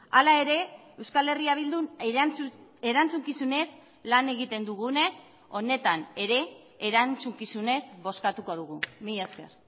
hala ere euskal herria bildun erantzukizunez lan egiten dugunez honetan ere erantzukizunez bozkatuko dugu mila esker